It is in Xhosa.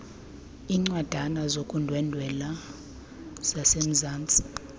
iincwadana zokundwendwela zasemzantsi